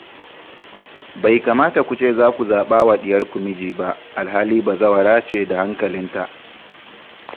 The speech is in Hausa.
Bai kamata ku ce za ku zaɓa wa ɗiyarku miji ba, alhali bazawara ce da hankalinta